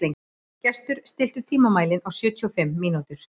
Gestur, stilltu tímamælinn á sjötíu og fimm mínútur.